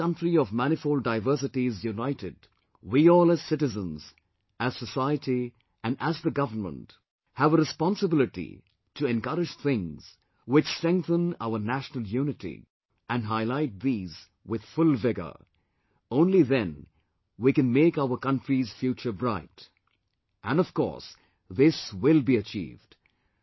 To keep this country of manifold diversities united, we all as citizens, as society and as the government, have a responsibility to encourage things which strengthen our national unity and highlight these with full vigour, only then we can make our country's future bright, and, of course, this will be achieved